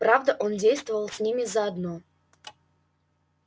правда он действовал с ними заодно